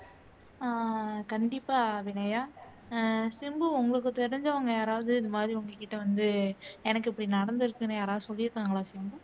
அஹ் கண்டிப்பா அபிநயா அஹ் சிம்பு உங்களுக்கு தெரிஞ்சவங்க யாராவது இந்த மாதிரி உங்ககிட்ட வந்து எனக்கு இப்படி நடந்துருக்குன்னு யாராவது சொல்லி இருக்காங்களா சிம்பு